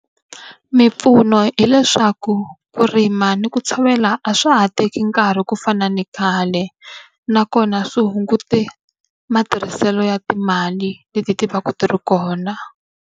Mimpfuno hileswaku ku rima ni ku tshovela a swa ha teki nkarhi ku fana ni khale, nakona swi hungutile matirhiselo ya timali leti ti va ka ti ri kona.